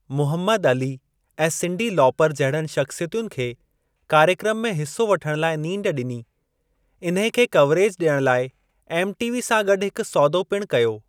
Muhammad Ali ऐं Cyndi Lauper जहिड़नि शख़्सियतुनि खे कार्यक्रम में हिस्सो वठण लाइ नींड ॾिनी, इन्हे खे कवरेज ॾियण लाइ एमटीवी सां गॾु हिकु सौदो पिणु कयो।